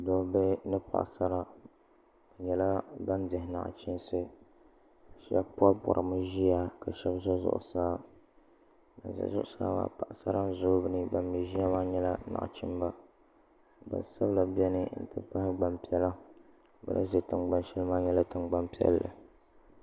nachim mini paɣ' sara be nyɛla ban dihi naɣichinsi shɛbi poripori mi ʒɛya ka shɛb zan zuɣ saa ban ʒɛ zuɣ saa maa paɣ' sara n ʒɛ dini ban mi ʒɛya maa nyɛla naɣochimiba gbanisabila bɛni n ti pahi gbanpiɛlla bɛ ni ʒɛ tiŋgbani shɛli maa nyɛla tiŋgbani piɛli